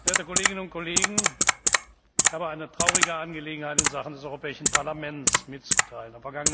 Verehrte Kolleginnen und Kollegen! Ich habe eine traurige Angelegenheit in Sachen des Europäischen Parlaments mitzuteilen.